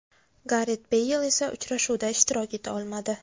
Garet Beyl esa uchrashuvda ishtirok eta olmadi.